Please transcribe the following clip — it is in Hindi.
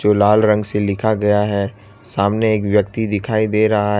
जो लाल रंग से लिखा गया है सामने एक व्यक्ति दिखाई दे रहा--